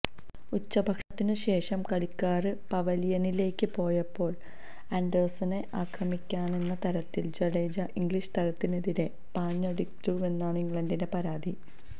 ഉച്ചഭക്ഷണത്തിനു ശേഷം കളിക്കാര് പവലിയനിലേക്ക് പോയപ്പോള് ആന്ഡേഴ്സണെ ആക്രമിക്കാനെന്ന തരത്തില് ജഡേജ ഇംഗ്ലീഷ് താരത്തിനെതിരെ പാഞ്ഞടുത്തുവെന്നാണ് ഇംഗ്ലണ്ടിന്റെ പരാതി